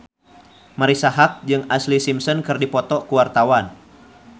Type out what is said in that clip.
Marisa Haque jeung Ashlee Simpson keur dipoto ku wartawan